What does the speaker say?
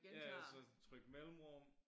Ja ja så tryk mellemrum